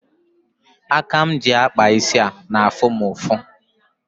Aka m ji akpa isi a na-afụ m ụfụ.